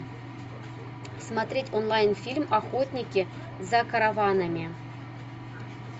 смотреть онлайн фильм охотники за караванами